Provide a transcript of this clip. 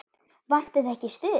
Vantar þig ekki stuð?